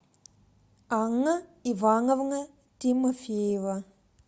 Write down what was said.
анна ивановна тимофеева